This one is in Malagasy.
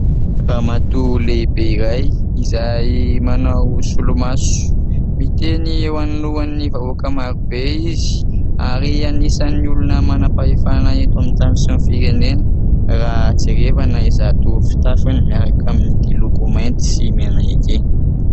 Ramatoa lehibe iray, izay manao solomaso. Miteny eo anoloan'ny vahoaka marobe izy ary anisan'ny olona manam-pahefana eto amin'ny tany sy ny firenena raha jerena izato fitafiny miaraka amin'ity loko mainty sy mena ity.